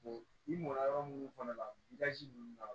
i mɔnna yɔrɔ munnu kɔnɔ i ka ji ninnu mara